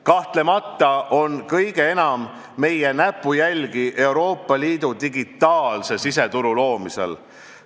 Kahtlemata on kõige enam meie näpujälgi Euroopa Liidu digitaalse siseturu loomisel.